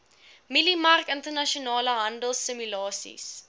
mieliemark internasionale handelsimulasies